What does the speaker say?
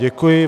Děkuji.